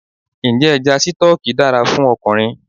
Ǹjẹ́ Ẹja Sítọ́ọ́kì dára fún ọkùnrin?